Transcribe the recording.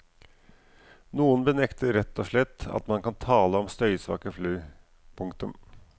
Noen benekter rett og slett at man kan tale om støysvake fly. punktum